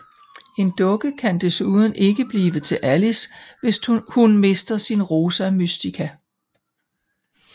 En dukke kan desuden ikke blive til Alice hvis hun mister sin Rosa Mystica